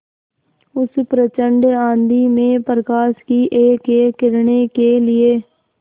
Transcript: उस प्रचंड आँधी में प्रकाश की एकएक किरण के लिए